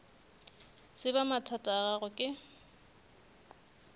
tseba mathata a gago ke